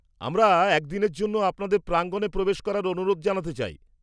-আমরা একদিনের জন্য আপনাদের প্রাঙ্গনে প্রবেশ করার অনুরোধ জানাতে চাই?